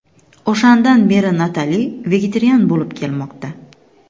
O‘shandan beri Natali vegetarian bo‘lib kelmoqda.